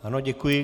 Ano, děkuji.